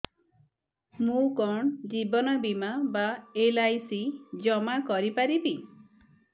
ମୁ କଣ ଜୀବନ ବୀମା ବା ଏଲ୍.ଆଇ.ସି ଜମା କରି ପାରିବି